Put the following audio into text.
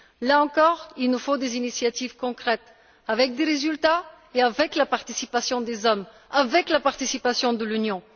Là encore, il nous faut des initiatives concrètes avec des résultats, avec la participation des hommes et avec la participation de l'Union.